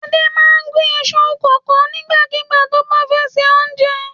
Adé máa ń gún iṣu kòkó nígbàkigbà tó bá fẹ́ se oúnjẹ.